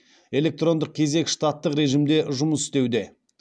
электрондық кезек штаттық режимде жұмыс істеуде